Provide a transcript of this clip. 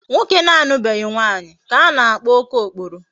Nwoke na-alubeghi nwaanyi ka a na-akpo okookporo